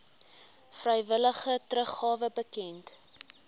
vrywillige teruggawe bekend